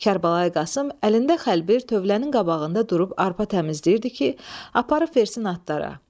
Kərbəlayı Qasım əlində xəlbir tövlənin qabağında durub arpa təmizləyirdi ki, aparıb versin atlara.